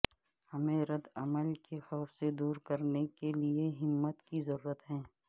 ہمیں ردعمل کے خوف سے دور کرنے کے لئے ہمت کی ضرورت ہے